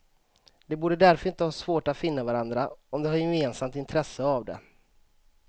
De borde därför inte ha svårt att finna varandra om de har gemensamt intresse av det.